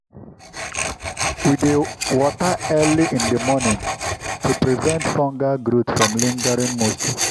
we dey water early in the morning to prevent fungal growth from lingering moisture.